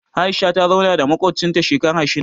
Aisha ta zauna da maƙwabcinta shekara shida